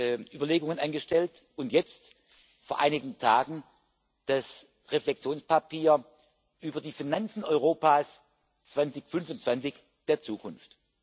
heißt, Überlegungen angestellt und jetzt vor einigen Tagen das Reflexionspapier über die Finanzen Europas 2025, der Zukunft.